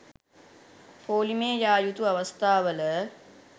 පෝලිමේ යා යුතු අවස්ථාවල